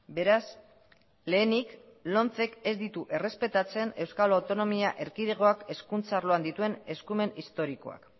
beraz lehenik lomcek ez ditu errespetatzen euskal autonomia erkidegoak hezkuntza arloan dituen eskumen historikoak